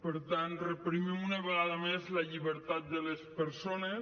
per tant reprimim una vegada més la llibertat de les persones